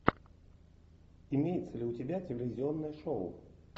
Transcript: имеется ли у тебя телевизионное шоу